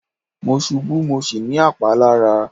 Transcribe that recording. Mo ṣubú mo sì ní àpá lára.